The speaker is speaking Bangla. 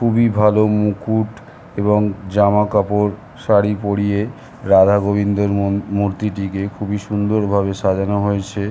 খুবই ভালো মুকুট এবং জামা কাপড় শাড়ী পড়িয়ে রাধা গোবিন্দের মন মূর্তিটিকে খুবই সুন্দর ভাবে সাজানো হয়েছে ।